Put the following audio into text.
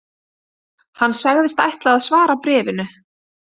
Hann sagðist ætla að svara bréfinu